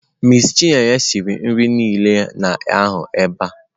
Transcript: Miss chineye siri nri niile ị na-ahụ ebe a.